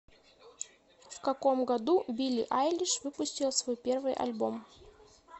в каком году билли айлиш выпустила свой первый альбом